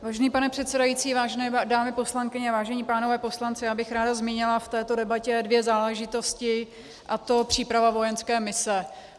Vážený pane předsedající, vážené dámy poslankyně, vážení pánové poslanci, já bych ráda zmínila v této debatě dvě záležitosti, a to příprava vojenské mise.